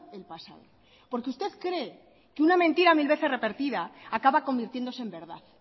el pasado porque usted cree que una mentira mil veces repetida acaba convirtiéndose en verdad